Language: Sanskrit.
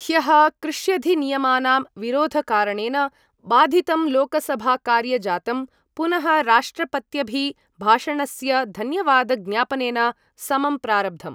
ह्यः कृष्यधिनियमानां विरोधकारणेन बाधितं लोकसभाकार्यजातं पुनः राष्ट्रपत्यभिभाषणस्य धन्यवादज्ञापनेन समं प्रारब्धम्।